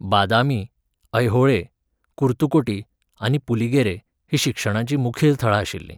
बादामी, ऐहोळे, कुर्तुकोटी आनी पुलिगेरे हीं शिक्षणाचीं मुखेल थळां आशिल्लीं.